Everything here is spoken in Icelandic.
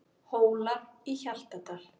Hólar í Hjaltadal.